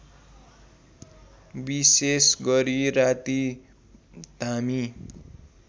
विशेषगरी राती धामी